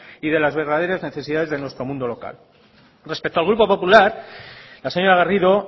y de las verdaderas necesidades de nuestro mundo local respecto al grupo popular la señora garrido